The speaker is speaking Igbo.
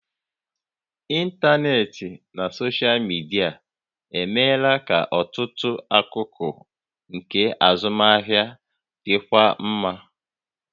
Ịntanetị na soshal midia emeela ka ọtụtụ akụkụ nke azụmahịa dịkwuo mma